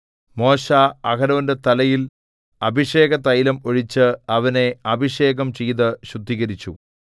മോശെ അഹരോന്റെ തലയിൽ അഭിഷേകതൈലം ഒഴിച്ച് അവനെ അഭിഷേകം ചെയ്തു ശുദ്ധീകരിച്ചു